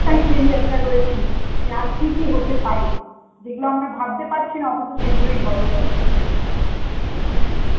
excitement এ একটা রয়েছি হেয়ার কি কি হতে পারে, যেগুলো আমরা ভাবতে পারছি না অথচ সেইগুলোই হবে পরে.